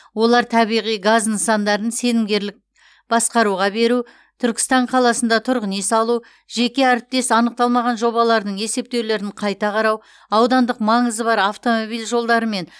олар табиғи газ нысандарын сенімгерлік басқаруға беру түркістан қаласында тұрғын үй салу жеке әріптес анықталмаған жобалардың есептеулерін қайта қарау аудандық маңызы бар автомобиль жолдары мен